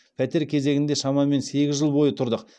пәтер кезегінде шамамен сегіз жыл бойы тұрдық